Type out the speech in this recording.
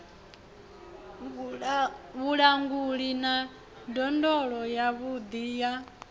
vhulanguli na ndondolo yavhuḓi ya